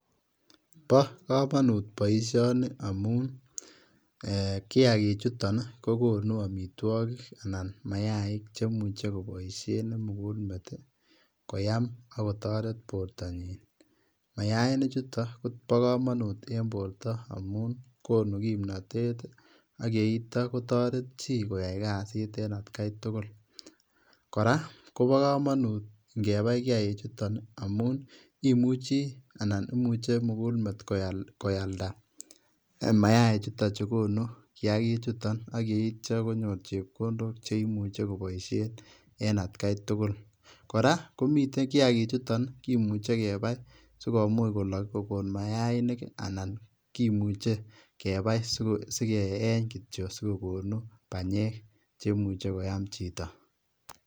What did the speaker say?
Bo kamanut boisioni amun ee kiagichuton kogono amitwogik anan mayaik chemuche koboisien kimugul met koam ak kotoret bortanyin. Mayainik chuton kobo kamanut en borto amun konu kimnatet ii ak yeitya kotoret chi koyai kasit en atkai tugul. Kora kobo kamanut ngebai kiagichuton amu imuchi anan imuche kimugul met koya, koyalda mayaik chuton che konu kiagichuton ak yeitya konyor chepkondok che imuche kobisien en atkai tugul. Kora komiten, kiagichuton ii kimuche kebai sigomuch kolok, kogon mayainik anan kimuche kebai segeiny kityo sigogonu banyek che imuchi kwam chito.